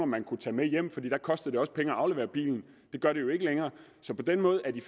man kunne tage med hjem for der kostede det også penge at aflevere bilen det gør det jo ikke længere så på den måde er de